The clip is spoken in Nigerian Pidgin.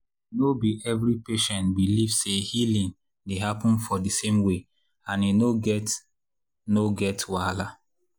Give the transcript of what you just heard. no be every patient believe say healing dey happen for di same way and e no get no get wahala.